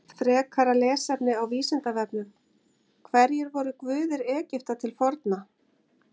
Frekara lesefni á Vísindavefnum: Hverjir voru guðir Egypta til forna?